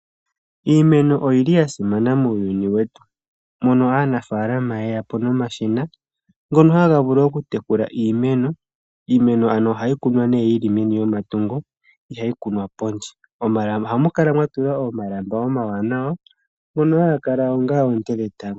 Iimeno oya simana muuyuni wetu. Aanafalama oye yapo nomashina ngoka ha gavulu oku tekula iimeno. Iimeno oha kunwa yili meni lyomatungo, iha yi kunwa pondje, oha mukala mwatulwa omalamba omawanawa ngoka hagakala ongaa oonte dhetango.